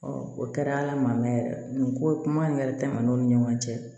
o kɛra ala ma mɛn yɛrɛ nin ko kuma in yɛrɛ tɛmɛna o ni ɲɔgɔn cɛ